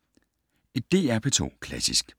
DR P2 Klassisk